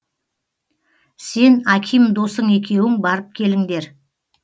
сен аким досың екеуің барып келіңдер